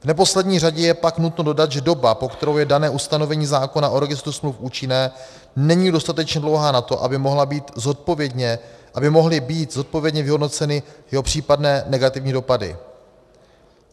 V neposlední řadě je pak nutno dodat, že doba, po kterou je dané ustanovení zákona o registru smluv účinné, není dostatečně dlouhá na to, aby mohly být zodpovědně vyhodnoceny jeho případné negativní dopady.